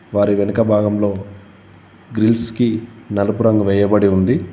వారి వెనుక భాగంలో గ్రిల్స్ కి నలుపు రంగు వేయబడి ఉంది.